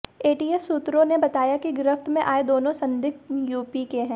ATS सूत्रों ने बताया कि गिरफ्त में आए दोनों संदिग्ध यूपी के हैं